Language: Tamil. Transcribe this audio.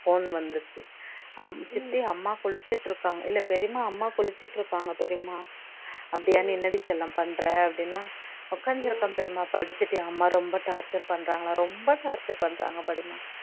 phone வந்துச்சு அம் சித்தி அம்மா குளிச்சுட்டுருக்காங்க இல்ல பெரியம்மா அம்மா குளிச்சுட்டுருக்காங்க பெரியம்மா அப்படியா நீ என்னடிசெல்லம் பண்ணுற அப்படின்னா உக்காந்திருக்கேன் பெரியம்மா படிச்சுட்டே அம்மா ரொம்ப torture பண்றாங்களா ரொம்ப torture பண்றாங்க பெரியம்மா